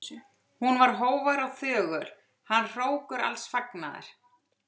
Hún var hógvær og þögul, hann hrókur alls fagnaðar.